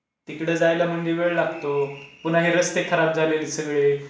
मग तिकडे जायला म्हणजे वेळ लागतो. पुन्हा हे रस्ते खराब झाले आहेत सगळे.